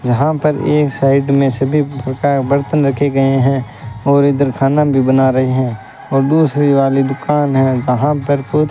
जहां पर एक साइड में सभी प्रकार के बर्तन रखे गए हैं और इधर खाना भी बना रहे हैं और दूसरी वाली दुकान है जहां पर कुछ--